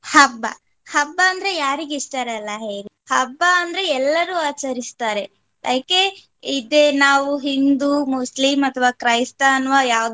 ಹಬ್ಬ, ಹಬ್ಬ ಅಂದ್ರೆ ಯಾರಿಗೆ ಇಷ್ಟ ಇರಲ್ಲ ಹೇಳಿ ಹಬ್ಬ ಅಂದ್ರೆ ಎಲ್ಲರು ಆಚರಿಸ್ತಾರೆ ಯಾಕೆ ಇದೆ ನಾವು ಹಿಂದೂ, ಮುಸ್ಲಿಂ ಅಥವಾ ಕ್ರೈಸ್ತ ಅನ್ನುವ ಯಾವುದೇ